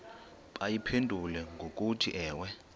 bayiphendule ngokuthi ewe